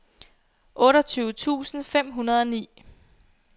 otteogtyve tusind fem hundrede og ni